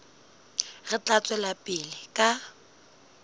re tla tswela pele ka